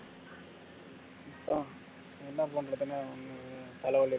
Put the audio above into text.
அதான் என்ன பண்றதுனே தலைவலி